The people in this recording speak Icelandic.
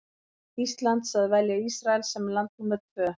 Íslands að velja Ísrael sem land númer tvö.